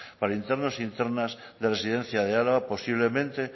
para internos e internas de residencia de álava posiblemente